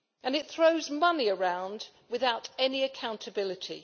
It throws money around without any accountability.